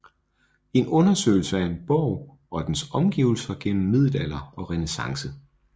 En undersøgelse af en borg og dens omgivelser gennem middelalder og renæssance